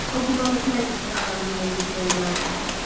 O güman etməzdi ki, adanın yeri düşmənə məlumdur.